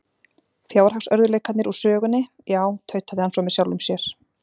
Fjárhagsörðugleikarnir úr sögunni, já- tautaði hann svo með sjálfum sér.